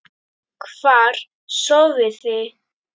Hvar sofiði?